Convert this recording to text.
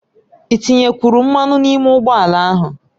Ị tinyekwuru mmanụ n'ime ụgbọ ala ahụ?